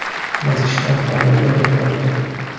Masjidlar faoliyatini to‘xtatdi .